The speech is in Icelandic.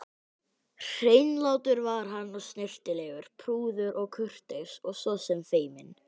Hreinlátur var hann og snyrtilegur, prúður og kurteis og svo sem feiminn.